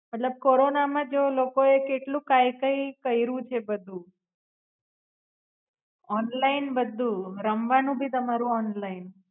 મતલબ કોરોના માં કેવું લોકો એ કેટલુંક કંઈ કંઈ કઈરું છે બધું. ઓનલાઇન બધું રમવાનું ભી તમારું ઓનલાઇન